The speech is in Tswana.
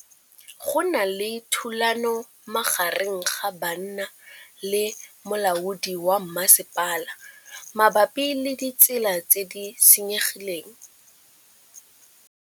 Go na le thulanô magareng ga banna le molaodi wa masepala mabapi le ditsela tse di senyegileng.